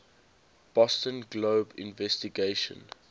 boston globe investigation